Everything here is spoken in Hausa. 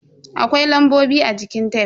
Akwai lambobi a jikin tef.